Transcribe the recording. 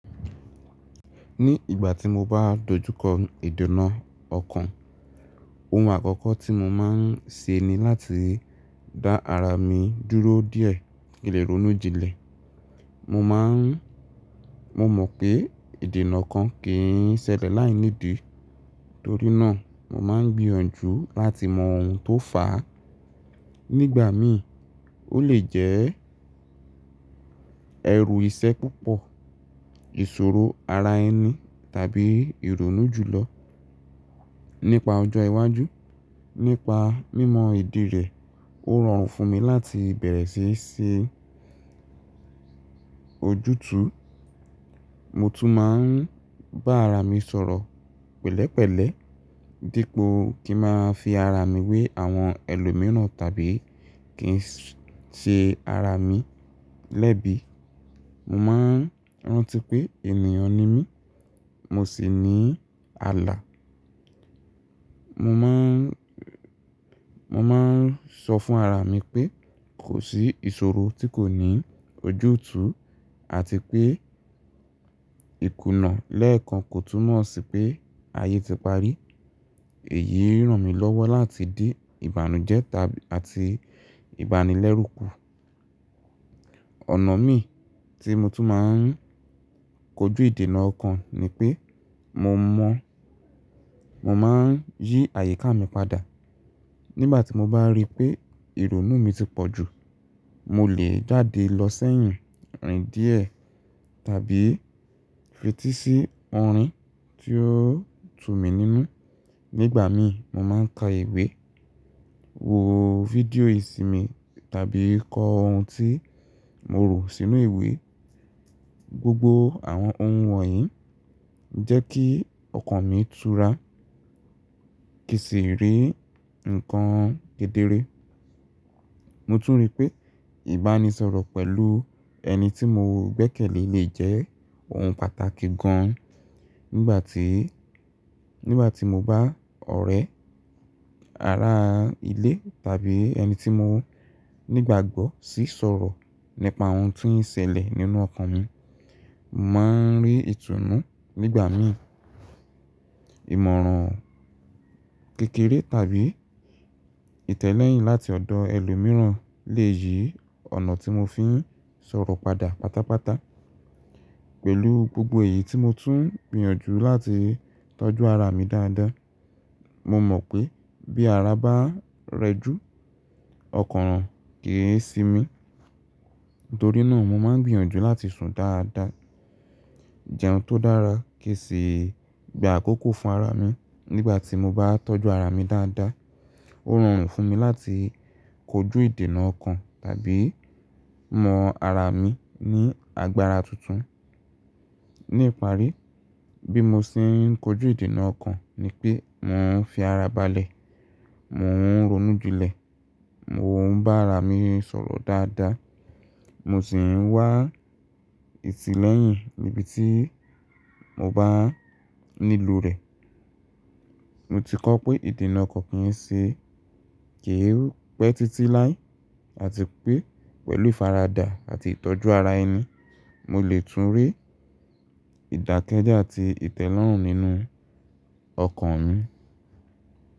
Ní ìgbà tí mo bá dojú kọ ìdènà ọkàn, ohun àkọ́kọ́ tí mo máa ń ṣe ni láti dá ara mi dúró díẹ̀ kile ronu jinle Mo mọ̀ pé ìdènà ọkàn kì í ṣẹlẹ̀ láìní ìdí, torí náà mo máa ń gbìyànjú láti mọ ohun tó fà á. Nígbà mí, ó lè jẹ́ ẹrù iṣẹ́ púpọ̀, ìṣòro ara ẹni tàbí ìrònú ju lọ. Nípa ọjọ́ iwájú, nípa mímọ ìdí rẹ̀, ó rọrùn fún mi láti bẹ̀rẹ̀ sí í ṣe ojútùú. Mo tún máa ń bá ara mi sọ̀rọ̀ pẹ̀lẹ́pẹ̀lẹ́, dípò kí ń máa fi ara mi wé àwọn ẹlòmíràn tàbí kí ń ṣe ara mi lẹ́bi. Mo máa ń rántí pé ènìyàn ni mí, mo sì ní àlà. Mo máa ń sọ fún ara mi pé kò sí ìṣòro tí kò ní ojútùú àti pé ìkùnà lẹ́ẹ̀kan kò túnmọ̀ sí pé ayé ti parí. Èyí ń ràn mí lọ́wọ́ láti dí ìbànújẹ́ àti ìbánilẹ́rù kù. Ọ̀nà mí tí mo tún máa ń kojú ìdènà ọkàn ni pé mo máa ń yí àyíká mi padà. Nígbà tí mo bá rí pé ìrònú mi ti pọ̀ jù, mo lè jáde lọ sẹ́yìn rìn díẹ̀ tàbí fetí sí orin tí ó tú mi nínú. Nígbà mí, mo máa ń ka ìwé, wo fídíò ìsinmi tàbí kọ ohun tí mo rò sínú ìwé. Gbogbo àwọn ohun wọ̀nyí ń jẹ́ kí ọkàn mi tura, kì í sì rí nǹkan gedere. Mo tún rí pé ìbánisọ̀rọ̀ pẹ̀lú ẹni tí mo gbẹ́kẹ̀lé lè jẹ́ ohun pàtàkì gan. Nígbà tí mo bá ọ̀rẹ́, ará ilé tàbí ẹni tí mo nígbàgbọ́ sì ń sọ̀rọ̀ nípa ohun tí ń ṣẹlẹ̀ nínú ọkàn mi, màá ń rí ìtùnú. Nígbà mí, ìmọ̀ràn kékeré tàbí ìtẹ́lẹ́yìn láti ọ̀dọ̀ ẹlòmíràn lè yí ònà tí mo fi ń sọ̀rọ̀ padà pátápátá. Pẹ̀lú gbogbo èyí tí mo tún ń gbìyànjú láti tọ́jú ara mi dáadáa. Mo mọ̀ pé bí ara bá rẹ jù, ọkàn ràn kì í si mí. Nítorí náà mo máa ń gbìyànjú láti sùn dáadáa, jẹun tó dára kì í sì gba àkókò fún ara mi. Nígbà tí mo bá tọ́jú ara mi dáadáa, ó rọrùn fún mi láti kojú ìdènà ọkàn tàbí mọ ara mi ní agbára tuntun. Ní ìparí, bí mo ṣe ń kojú ìdènà ọkàn ni pé mò ń fi ara balẹ̀, mò ń ronú jinlẹ̀, mò ń bá ara mi sọ̀rọ̀ dáadáa, mo sì ń wá ìtìlẹ́yìn níbi tí mo bá nílò rẹ̀. Mo ti kọ́ pé ìdènà ọkàn kì í ṣe kì í pẹ́ títí láé àti pé pẹ̀lú ìfaradà àti ìtọ́jú ara ẹni, mo lè tún rí ìdákẹ́jẹ́ àti ìtẹ́lọ́rùn nínú ọkàn mi.